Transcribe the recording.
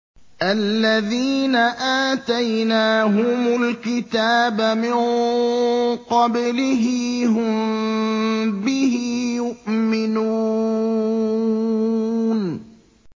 الَّذِينَ آتَيْنَاهُمُ الْكِتَابَ مِن قَبْلِهِ هُم بِهِ يُؤْمِنُونَ